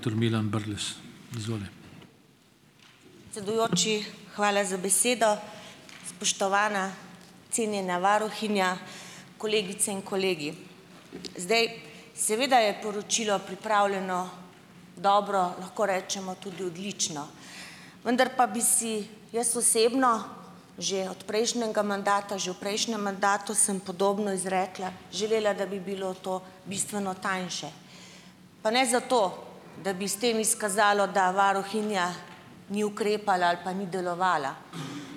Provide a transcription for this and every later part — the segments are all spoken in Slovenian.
Predsedujoči, hvala za besedo. Spoštovana, cenjena varuhinja, kolegice in kolegi. Zdaj, seveda je poročilo pripravljeno dobro, lahko rečemo tudi odlično. Vendar pa bi si jaz osebno že od prejšnjega mandata, že v prejšnjem mandatu sem podobno izrekla, želela, da bi bilo to bistveno tanjše. Pa ne zato, da bi s tem izkazalo, da varuhinja ni ukrepala ali pa ni delovala,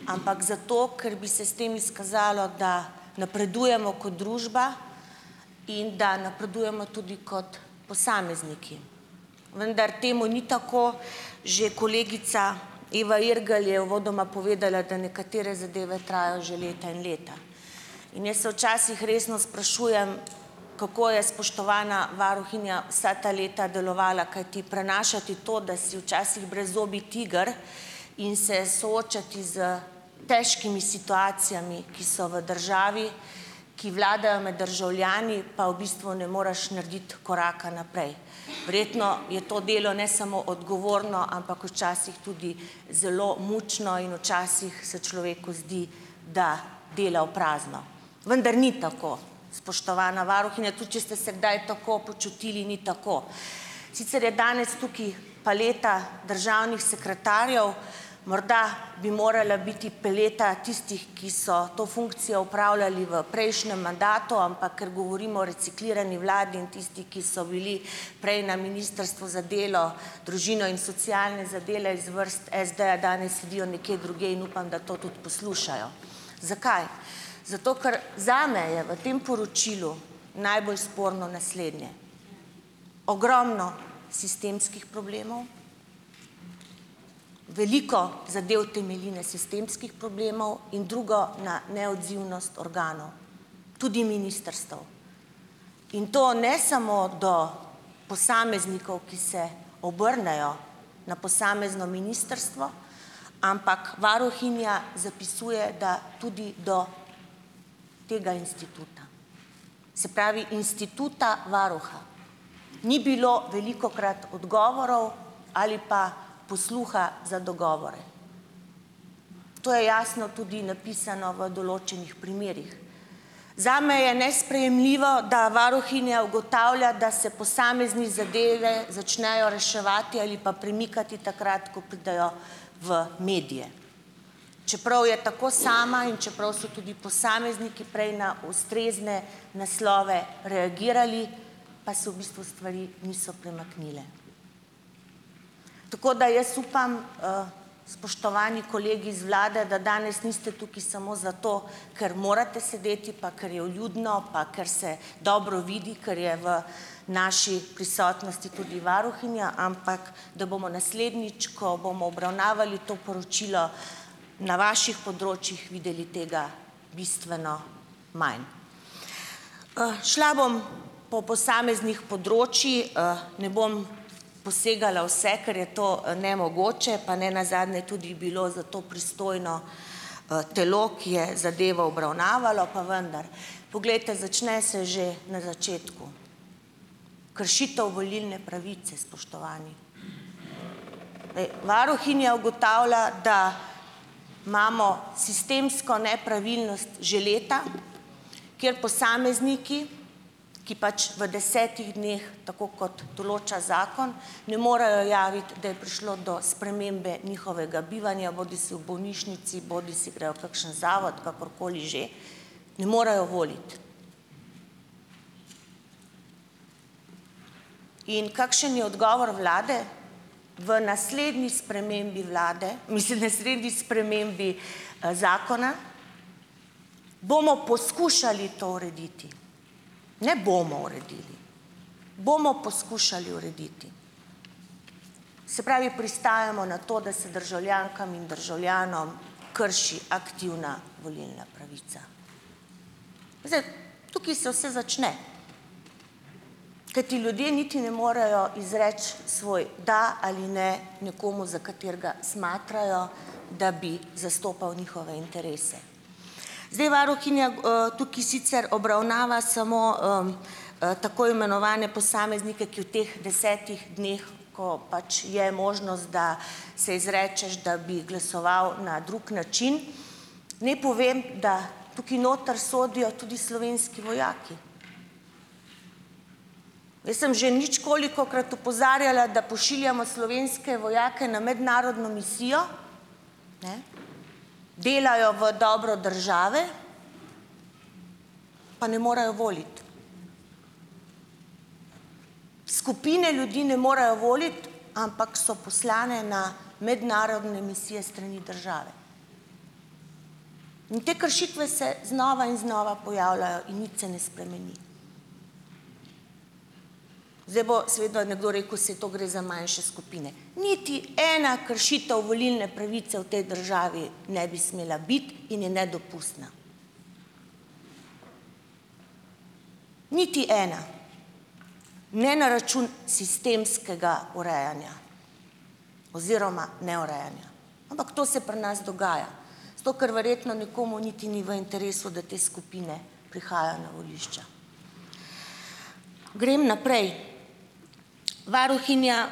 ampak zato, ker bi se s tem izkazalo, da napredujemo kot družba in da napredujemo tudi kot posamezniki. Vendar temu ni tako, že kolegica Eva Irgl je uvodoma povedala, da nekatere zadeve trajajo že leta in leta. In jaz se včasih resno sprašujem, kako je spoštovana varuhinja vsa ta leta delovala, kajti prenašati to, da si včasih brezzobi tiger, in se soočati s težkimi situacijami, ki so v državi, ki vladajo med državljani, pa v bistvu ne moreš narediti koraka naprej. Verjetno je to delo ne samo odgovorno, ampak včasih tudi zelo mučno, in včasih se človeku zdi, da dela v prazno. Vendar ni tako, spoštovana varuhinja, tudi če ste se kdaj tako počutili, ni tako. Sicer je danes tukaj paleta državnih sekretarjev. Morda bi morala biti paleta tistih, ki so to funkcijo opravljali v prejšnjem mandatu, ampak ker govorimo o reciklirani vladi in tistih, ki so bili prej na Ministrstvu za delo, družino in socialne zadeve iz vrst SD-ja, danes sedijo nekje drugje in upam, da to tudi poslušajo. Zakaj? Zato ker zame je v tem poročilu najbolj sporno naslednje: ogromno sistemskih problemov, veliko zadev temelji na sistemskih problemov, in drugo, na neodzivnost organov, tudi ministrstev. In to ne samo do posameznikov, ki se obrnejo na posamezno ministrstvo, ampak varuhinja zapisuje, da tudi do tega instituta, se pravi, instituta varuha. Ni bilo velikokrat odgovorov ali pa posluha za dogovore. To je jasno tudi napisano v določenih primerih. Zame je nesprejemljivo, da varuhinja ugotavlja, da se posamezne zadeve začnejo reševati ali pa premikati takrat, ko pridejo v medije. Čeprav je tako sama in čeprav so tudi posamezniki prej na ustrezne naslove reagirali, pa se v bistvu stvari niso premaknile. Tako da jaz upam, spoštovani kolegi iz vlade, da danes niste tukaj samo zato, ker morate sedeti pa ker je vljudno pa ker se dobro vidi, ker je v naši prisotnosti tudi varuhinja, ampak da bomo naslednjič, ko bomo obravnavali to poročilo, na vaših področjih videli tega bistveno manj. Šla bom po posameznih področjih, ne bom posegala vse, ker je to nemogoče, pa ne nazadnje tudi bilo za to pristojno telo, ki je zadevo obravnavalo, pa vendar. Poglejte, začne se že na začetku. Kršitev volilne pravice, spoštovani. Dej, varuhinja ugotavlja, da imamo sistemsko nepravilnost že leta, kjer posamezniki, ki pač v desetih dneh, tako kot določa zakon, ne morejo javiti, da je prišlo do spremembe njihovega bivanja, bodisi v bolnišnici bodisi grejo v kakšen zavod, kakorkoli že, ne morejo voliti. In kakšen je odgovor vlade? V naslednji spremembi vlade, mislim, v naslednji spremembi zakona, bomo poskušali to urediti. Ne, bomo uredili. Bomo poskušali urediti. Se pravi, pristajamo na to, da se državljankam in državljanom krši aktivna volilna pravica. Zdaj, tukaj se vse začne. Kajti ljudje niti ne morajo izreči svoj da ali ne nekomu, za katerega smatrajo, da bi zastopal njihove interese. Zdaj, varuhinja tukaj sicer obravnava samo tako imenovane posameznike, ki v teh desetih dneh, ko pač je možnost, da se izrečeš, da bi glasoval na drug način, naj povem, da tukaj noter sodijo tudi slovenski vojaki. Jaz sem že ničkolikokrat opozarjala, da pošiljamo slovenske vojake na mednarodno misijo, ne, delajo v dobro države, pa ne morejo voliti. Skupine ljudi ne morejo voliti, ampak so poslane na mednarodne misije s strani države. In te kršitve se znova in znova pojavljajo in nič se ne spremeni. Zdaj bo se vedno nekdo rekel, saj to gre za manjše skupine - niti ena kršitev volilne pravice v tej državi ne bi smela biti in je nedopustna! Niti ena! Ne na račun sistemskega urejanja oziroma neurejanja. Ampak to se pri nas dogaja, zato ker verjetno nekomu niti ni v interesu, da te skupine prihajajo na volišča. Grem naprej. Varuhinja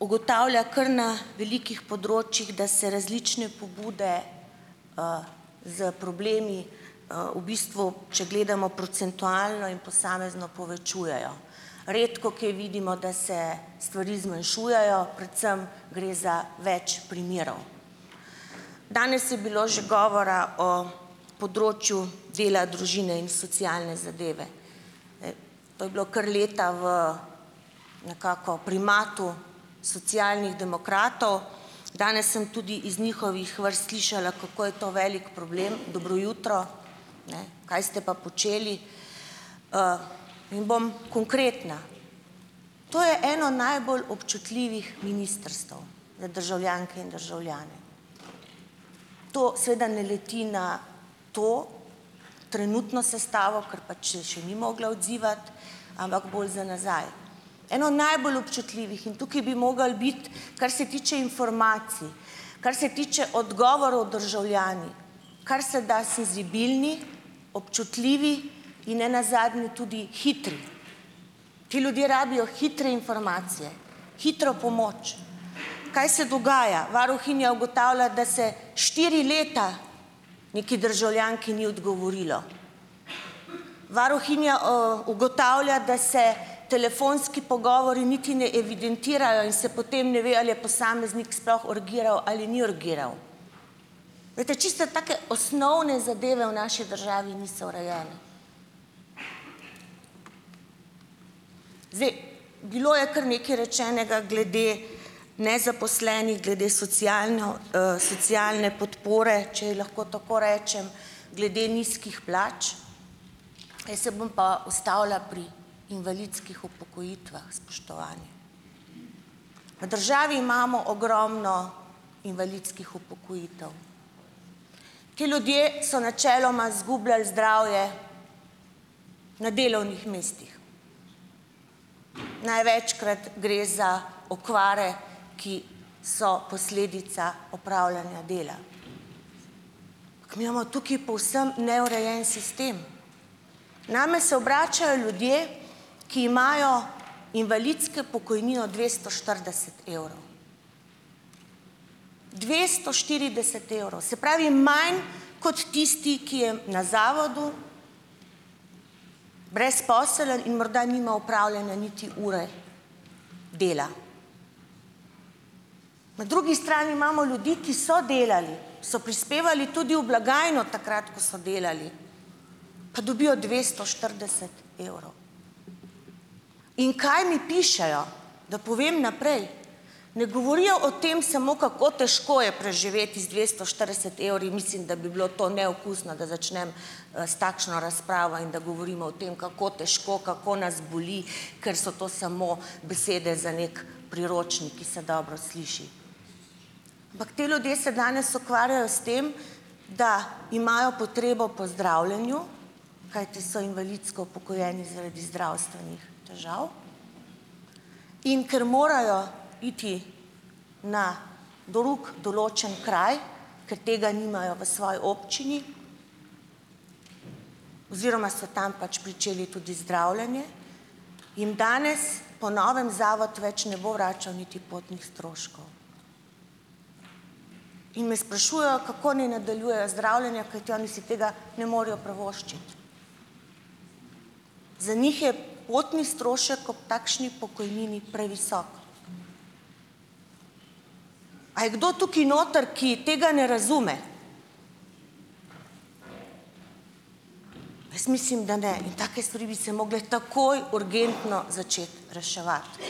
ugotavlja kar na velikih področjih, da se različne pobude s problemi v bistvu, če gledamo procentualno in posamezno, povečujejo. Redkokje vidimo, da se stvari zmanjšujejo, predvsem gre za več primerov. Danes je bilo že govora o področju dela, družine in socialne zadeve. E, to je bilo kar leta v nekako primatu Socialnih demokratov. Danes sem tudi iz njihovih vrst slišala, kako je to velik problem. Dobro jutro! Ne. Kaj ste pa počeli? In bom konkretna. To je eno najbolj občutljivih ministrstev za državljanke in državljane. To seveda ne leti na to trenutno sestavo, ker pač se še ni mogla odzivati, ampak bolj za nazaj. Eno najbolj občutljivih in tukaj bi moralo biti, kar se tiče informacij, kar se tiče odgovorov državljani, kar se da senzibilni, občutljivi in ne nazadnje tudi hitri, ti ljudje rabijo hitre informacije, hitro pomoč. Kaj se dogaja? Varuhinja ugotavlja, da se štiri leta neki državljanki ni odgovorilo. Varuhinja ugotavlja, da se telefonski pogovori niti ne evidentirajo in se potem ne ve, ali je posameznik sploh urgiral ali ni urgiral. Glejte, čiste take osnovne zadeve v naši državi niso urejene. Zdaj, bilo je kar nekaj rečenega glede nezaposlenih, glede socialno socialne podpore, če ji lahko tako rečem, glede nizkih plač, jaz se bom pa ustavila pri invalidskih upokojitvah, spoštovani. V državi imamo ogromno invalidskih upokojitev. Ti ljudje so načeloma zgubljali zdravje na delovnih mestih, največkrat gre za okvare, ki so posledica opravljanja dela. Mi imamo tu povsem neurejen sistem. Name se obračajo ljudje, ki imajo invalidske pokojnino dvesto štirideset evrov. dvesto štirideset evrov! Se pravi, manj kot tisti, ki je na zavodu, brezposeln in morda nima opravljene niti ure dela. Na drugi strani imamo ljudi, ki so delali, so prispevali tudi v blagajno takrat, ko so delali, pa dobijo dvesto štirideset evrov. In kaj mi pišejo, da povem naprej. Ne govorijo o tem samo, kako težko je preživeti z dvesto štirideset evri, mislim, da bi bilo to neokusno, da začnem s takšno razpravo in da govorimo o tem, kako težko, kako nas boli, ker so to samo besede za neki priročnik, ki se dobro sliši. Ampak ti ljudje se danes ukvarjajo s tem, da imajo potrebo po zdravljenju, kajti so invalidsko upokojeni zaradi zdravstvenih težav, in ker morajo iti na drug določen kraj, ker tega nimajo v svoji občini oziroma so tam pač pričeli tudi zdravljenje, jim danes po novem zato več ne bo vračal niti potnih stroškov. In me sprašujejo, kako naj nadaljujejo zdravljenje, kajti oni si tega ne morejo privoščiti. Za njih je potni strošek ob takšni pokojnini previsok. A je kdo tukaj noter, ki tega ne razume? Jaz mislim, da ne. In take stvari bi se morale takoj, urgentno začeti reševati.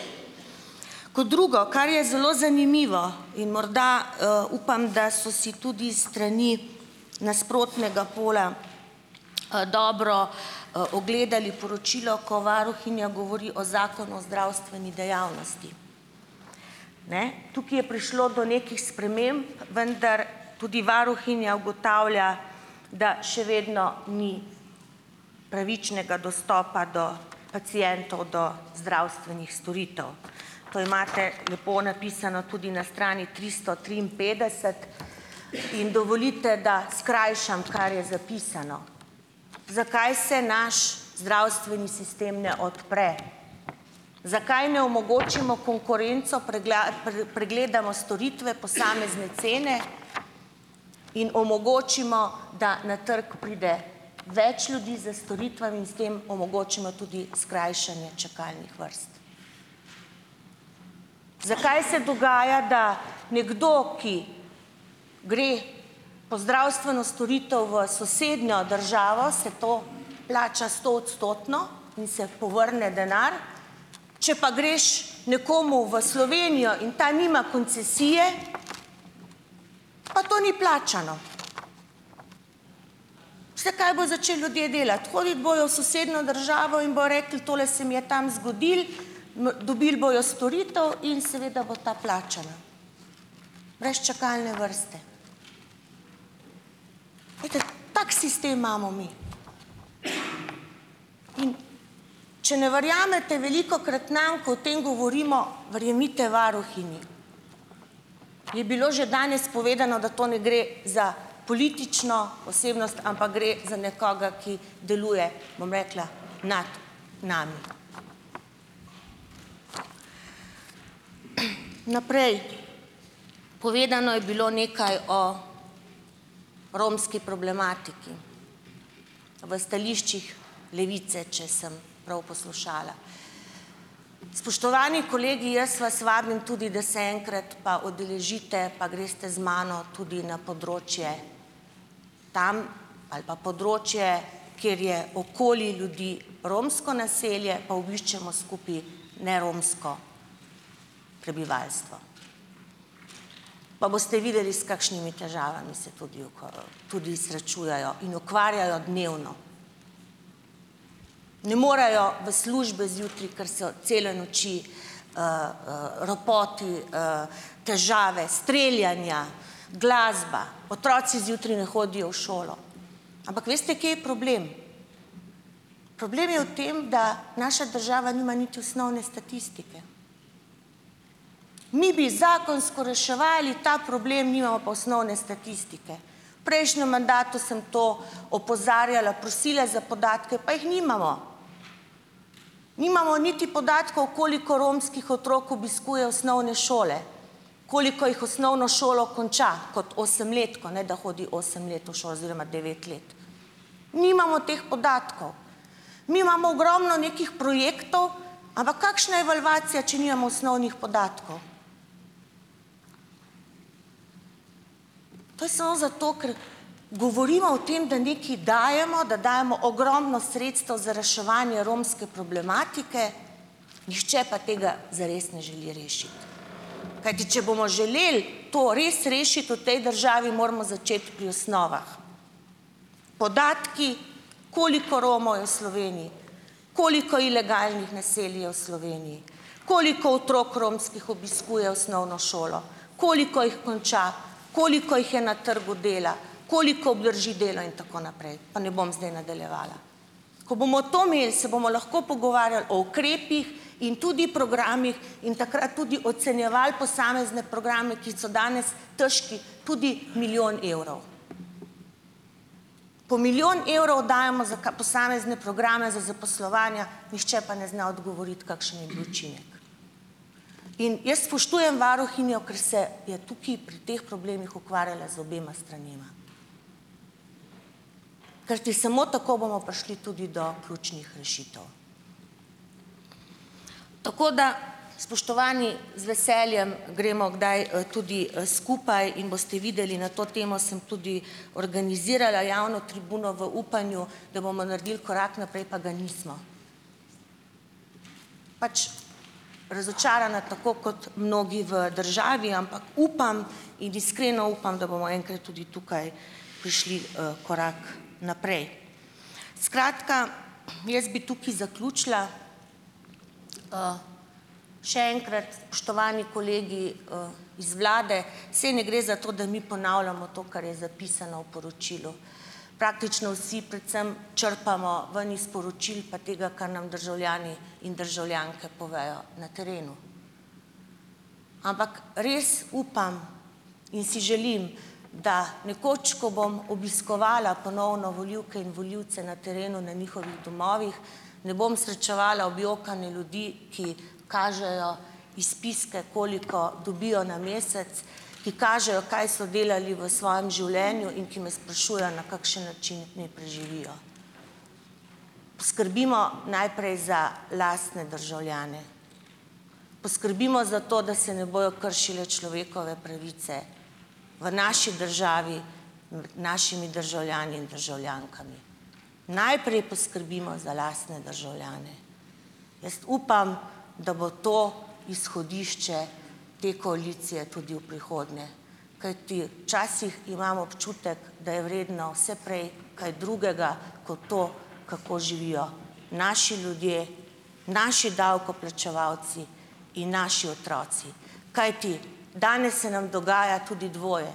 Kot drugo - kar je zelo zanimivo in morda upam, da so si tudi s strani nasprotnega pola dobro ogledali poročilo, ko varuhinja govori o Zakonu o zdravstveni dejavnosti. Ne. Tukaj je prišlo do nekih sprememb, vendar tudi varuhinja ugotavlja, da še vedno ni pravičnega dostopa do pacientov do zdravstvenih storitev. To imate lepo napisano tudi na strani tristo triinpetdeset in dovolite, da skrajšam, kar je zapisano. Zakaj se naš zdravstveni sistem ne odpre? Zakaj ne omogočimo konkurenco, pregledamo storitve, posamezne cene in omogočimo, da na trgu pride več ljudi s storitvami in s tem omogočimo tudi skrajšanje čakalnih vrst? Zakaj se dogaja, da nekdo, ki gre po zdravstveno storitev v sosednjo državo - se to plača stoodstotno in se povrne denar? Če pa greš nekomu v Slovenijo in ta nima koncesije, pa to ni plačano. Ste, kaj bodo začeli ljudje delati? Hoditi bojo v sosednjo državo in bojo rekli: "Tole se mi je tam zgodilo." Dobili bojo storitev in seveda bo ta plačana. Brez čakalne vrste. Glejte, tak sistem imamo mi. In če ne verjamete velikokrat nam, ko o tem govorimo, verjemite varuhinji. Je bilo že danes povedano, da to ne gre za politično osebnost, ampak gre za nekoga, ki deluje, bom rekla, nad nami. Naprej. Povedano je bilo nekaj o romski problematiki. V stališčih Levice, če sem prav poslušala. Spoštovani kolegi, jaz vas vabim tudi, da se enkrat pa udeležite pa greste z mano tudi na področje - tam ali pa področje, kjer je okoli ljudi romsko naselje, pa obiščemo skupaj neromsko prebivalstvo. Pa boste videli, s kakšnimi težavami se tudi tudi srečujejo. In ukvarjajo dnevno. Ne morejo v službe zjutraj, ker so cele noči ropoti, težave, streljanja, glasba. Otroci zjutraj ne hodijo v šolo. Ampak veste, kje je problem? Problem je v tem, da naša država nima niti osnovne statistike. Mi bi zakonsko reševali ta problem, nimamo pa osnovne statistike. Prejšnjem mandatu sem to opozarjala, prosila za podatke, pa jih nimamo! Nimamo niti podatkov, koliko romskih otrok obiskuje osnovne šole. Koliko jih osnovno šolo konča. Kot osemletko, ne da hodi osem let v šolo - oziroma devet let. Nimamo teh podatkov. Mi imamo ogromno nekih projektov, ampak kakšna je evalvacija, če nimamo osnovnih podatkov. To je samo zato, ker govorimo o tem, da nekaj dajemo, da dajemo ogromno sredstev za reševanje romske problematike, nihče pa tega zares ne želi rešiti. Kajti če bomo želeli to res rešiti v tej državi, moramo začeti pri osnovah. Podatki, koliko Romov je v Sloveniji, koliko ilegalnih naselij je v Sloveniji, koliko otrok romskih obiskuje osnovno šolo, koliko jih konča, koliko jih je na trgu dela, koliko obdrži delo in tako naprej. Pa ne bom zdaj nadaljevala. Ko bomo to imeli, se bomo lahko pogovarjali o ukrepih in tudi programih in takrat tudi ocenjevali posamezne programe, ki so danes težki tudi milijon evrov. Po milijon evrov dajemo za posamezne programe za zaposlovanja, nihče pa ne zna odgovoriti, kakšen je bil učinek. In jaz spoštujem varuhinjo, ker se je tukaj pri teh problemih ukvarjala z obema stranema. Kajti samo tako bomo prišli tudi do ključnih rešitev. Tako da, spoštovani, z veseljem gremo kdaj tudi skupaj in boste videli - na to temo sem tudi organizirala javno tribuno v upanju, da bomo naredili korak naprej, pa ga nismo. Pač, razočarana tako kot mnogi v državi, ampak upam in iskreno upam, da bomo enkrat tudi tukaj prišli korak naprej. Skratka, jaz bi tukaj zaključila. Še enkrat, spoštovani kolegi iz vlade, saj ne gre za to, da mi ponavljamo to, kar je zapisano v poročilu. Praktično vsi predvsem črpamo ven iz poročil pa tega, kar nam državljani in državljanke povejo na terenu, ampak res upam in si želim, da nekoč, ko bom obiskovala ponovno volivke in volivce na terenu na njihovih domovih, ne bom srečevala objokane ljudi, ki kažejo izpiske, koliko dobijo na mesec, ki kažejo, kaj so delali v svojem življenju, in ki me sprašujejo, na kakšen način ne preživijo. Poskrbimo najprej za lastne državljane. Poskrbimo za to, da se ne bojo kršile človekove pravice v naši državi našimi državljani in državljankami. Najprej poskrbimo za lastne državljane. Jaz upam, da bo to izhodišče te koalicije tudi v prihodnje, kajti včasih imam občutek, da je vredno vse prej kaj drugega kot to, kako živijo naši ljudje, naši davkoplačevalci in naši otroci. Kajti, danes se nam dogaja tudi dvoje.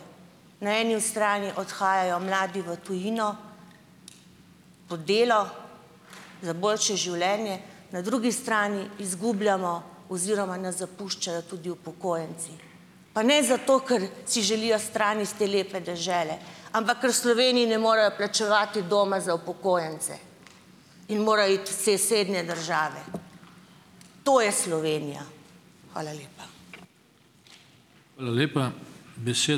Na eni ostrani odhajajo mladi v tujino po delo za boljše življenje, na drugi strani izgubljamo oziroma nas zapuščajo tudi upokojenci. Pa ne zato, ker si želijo stran iz te lepe dežele, ampak ker v Sloveniji ne morejo plačevati doma za upokojence in morajo iti v sosednje države. To je Slovenija. Hvala lepa.